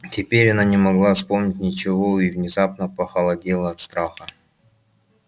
теперь она не могла вспомнить ничего и внезапно похолодела от страха